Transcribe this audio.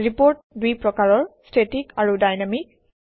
report দুই প্ৰকাৰৰ - static আৰু ডাইনামিক